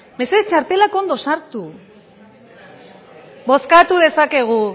mesedez txartelak ondo sartu bozkatu dezakegu